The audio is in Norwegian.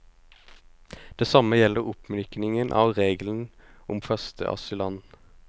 Det samme gjelder oppmykningen av regelen om første asylland.